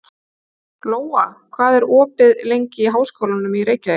Lóa, hvað er opið lengi í Háskólanum í Reykjavík?